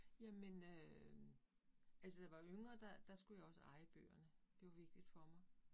Jamen øh altså var yngre, der der skulle jeg også eje bøgerne, det var vigtigt for mig